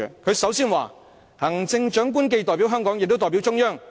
他首先指出，"行政長官既代表香港，也代表中央。